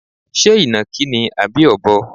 Ṣé ìnàkí ni àbí Ọ̀bọ?